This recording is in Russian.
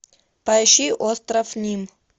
поищи остров ним